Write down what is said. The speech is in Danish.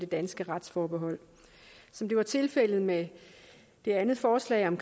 danske retsforbehold som det var tilfældet med det andet forslag om